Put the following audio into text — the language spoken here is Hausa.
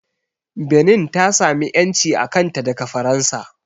Benin ta sami ƴanci a kanta daga Faransa